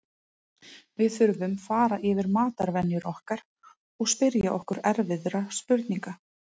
Þú verður bara að passa að hafa hurðina hérna alltaf læsta og alla glugga lokaða.